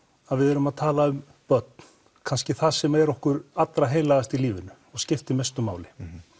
að við erum að tala um börn kannski það sem er okkur allra heilagast í lífinu og skiptir mestu máli